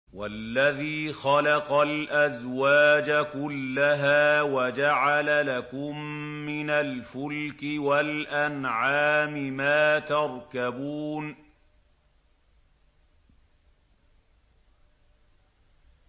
وَالَّذِي خَلَقَ الْأَزْوَاجَ كُلَّهَا وَجَعَلَ لَكُم مِّنَ الْفُلْكِ وَالْأَنْعَامِ مَا تَرْكَبُونَ